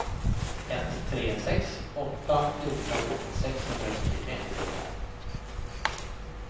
ett tre sex åtta fjorton sexhundrafyrtiotre